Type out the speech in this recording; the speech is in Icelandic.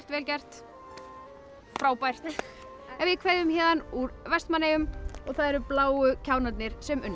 vel gert frábært en við kveðjum héðan úr Vestmannaeyjum og það eru bláu kjánarnir sem unnu